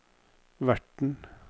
verten